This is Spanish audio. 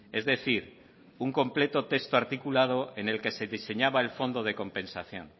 es decir un completo texto articulado en el que se diseñaba el fondo de compensación